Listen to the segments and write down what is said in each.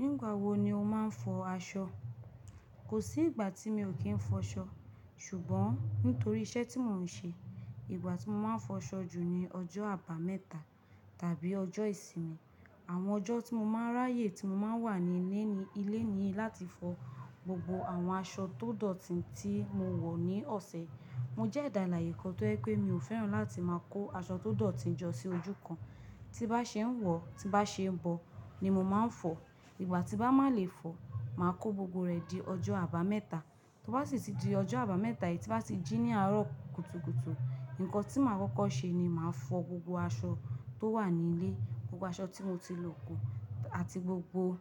Nígbà wo ni o máa ń fọ aṣọ? Kò sí ìgbà tí mi ò kí ń fọ aṣọ, ṣùgbọ́n nítorí iṣẹ́ tí mò ń ṣe, ìgbà tí mo máa ń fọ aṣọ jù ni ọjọ́ abameta tàbí ọjọ́ ìsinmi. Àwọn ọjọ́ tí mo máa ń ráyè tí mo máa wà ní ni ilé ni láti fọ gbogbo àwọn aṣọ tó dọ̀tí tí mo wọ̀ ní ọ̀sẹ̀. Mo jẹ́ ẹ̀dà alààyè kán tí ó ye pé mi ò fẹ́ràn láti máa kó aṣọ tó dọ̀tí jọ sí ojú kan. Tí bá ṣe é wọ̀, tí bá ṣe é bọ, ni mo máa ń fọ. Ìgbà tí bá mà lè fọ, màá kó gbogbo rẹ di ọjọ́ abameta. Tó bá sì ti di ọjọ́ abameta yìí tí bá ti jí ní àárọ̀ kùtùkùtù, nǹkan tí màá kọ́kọ́ ṣe ni màá fọ gbogbo aṣọ tó wà ní ilé, gbogbo aṣọ tí mo ti lò kù, àti gbogbo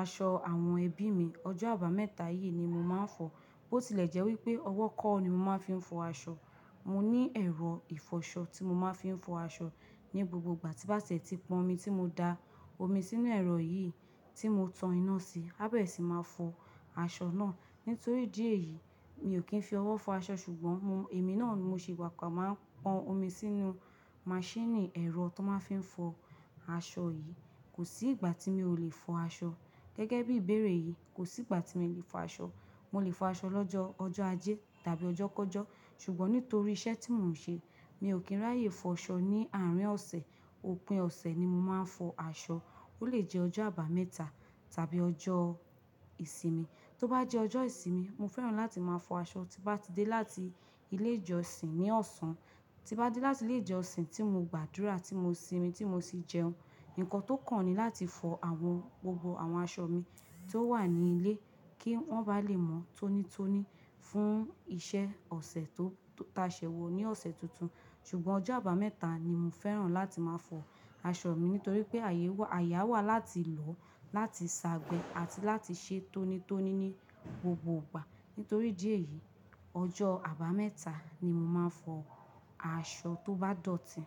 aṣọ àwọn ẹbí mi. Ọjọ́ abameta yìí ni mo máa ń fọ. Bó ti lẹ̀ jẹ́ wípé ọwọ́ ko ni mo máa fi ń fọ aṣọ. Mo ní ẹ̀rọ ìfọṣọ tí mo máa fi ń fọ aṣọ ní gbogbo ìgbà tí bàsẹ́tì pọn omi tí mo da omi sínú ẹ̀rọ yìí tí mo tan iná sí, ábẹ̀ sì máa fọ aṣọ náà. Nítorí dí ẹ̀yìí, mi ò kí ń fi ọwọ́ fọ aṣọ ṣùgbọ́n mo, èmi náà mo ṣe pàápàá máa pọn omi sínú machine ẹ̀rọ tón máa fi ń fọ aṣọ yìí. Kò sí ìgbà tí mi ò lè fọ aṣọ. Gẹ́gẹ́ bí ìbéèrè yìí, kò sí ìgbà tí mi ò lè fọ aṣọ. Mo lè fọ aṣọ lọ́jọ ọjọ́ ajé tàbí ọjọ́ kọ́jọ́. Ṣùgbọ́n nítorí iṣẹ́ tí mò ń ṣe, mi ò kí ń ráyè fọ aṣọ ní àárín ọ̀sẹ̀. Òpin ọ̀sẹ̀ ni mo máa ń fọ aṣọ. Ó lè jẹ́ ọjọ́ abameta tàbí ọjọ́ ìsinmi. Tó bá jẹ́ ọjọ́ ìsinmi, mo fẹ́ràn láti máa fọ aṣọ tí bá ti dé láti ilé ìjọsìn ní ọ̀sán. Tí bá dé láti ilé ìjọsìn tí mo gbàdúrà, tí mo sinmi, tí mo sì jẹun, nǹkan tó kàn ni láti fọ àwọn gbogbo àwọn aṣọ mi tó wà ní ilé kí wọ́n bá lè mọ́ tónítóní fún ìṣe ọ̀sẹ̀ tó ta ṣẹ́ wọ ní ọ̀sẹ̀ tuntun. Ṣùgbọ́n ọjọ́ abameta ni mo fẹ́ràn láti máa fọ aṣọ mi nítorí pé àyè a wà láti lọ, láti ṣagbẹ́ àti láti ṣe tónítóní ní gbogbo ìgbà. Nítorí díẹ̀ yìí, ọjọ́ abameta ni mo máa ń fọ aṣọ tó bá dọ̀tí.